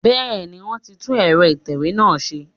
Bẹ́ẹ̀ni, wọ́n ti tún ẹ̀rọ ìtẹ̀wé wa ṣe